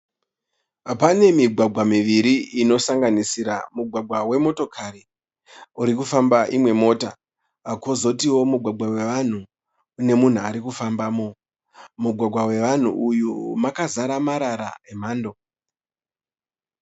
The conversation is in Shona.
Pane migwagwa miviri inosanganisira mugwagwa wemotokari urikufamba imwe mota. Kozotiwo mugwagwa wevanhu une munhu urikufambamo mugwagwa wevanhu uyu makazara marara emhando